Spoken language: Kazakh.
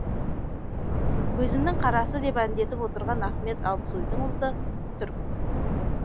көзімінің қарасы деп әндетіп отырған ахмет алпсойдың ұлты түрік